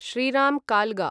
Shriram कालगा